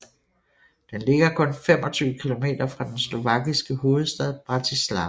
Den ligger kun 25 kilometer fra den slovakiske hovedstad Bratislava